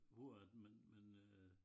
Hvor at man man øh